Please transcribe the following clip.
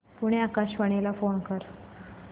पुणे आकाशवाणीला फोन कर